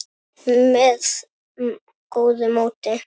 með góðu móti.